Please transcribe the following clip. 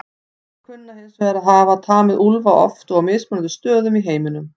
Menn kunna hins vegar að hafa tamið úlfa oft og á mismunandi stöðum í heiminum.